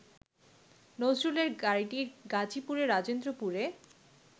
নজরুলের গাড়িটি গাজীপুরের রাজেন্দ্রপুরে